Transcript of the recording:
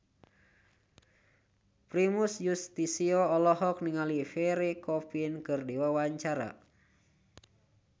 Primus Yustisio olohok ningali Pierre Coffin keur diwawancara